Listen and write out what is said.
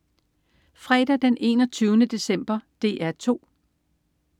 Fredag den 21. december - DR 2: